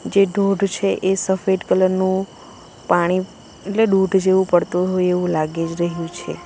જે ધોઢ છે એ સફેદ કલર નું પાણી એટલે દૂધ જેવું પડતુ હોય એવું લાગી જ રહ્યું છે.